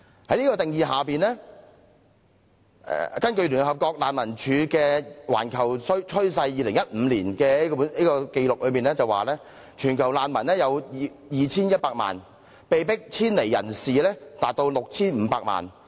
在這個定義下，根據聯合國難民署發表的《全球趨勢》所顯示的2015年的紀錄，全球難民有 2,100 萬人，被迫遷離人士達 6,500 萬人。